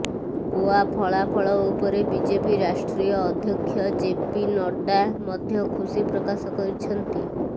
ଗୋଆ ଫଳାଫଳ ଉପରେ ବିଜେପି ରାଷ୍ଟ୍ରୀୟ ଅଧ୍ୟକ୍ଷ ଜେପି ନଡ୍ଡା ମଧ୍ୟ ଖୁସି ପ୍ରକାଶ କରିଛନ୍ତି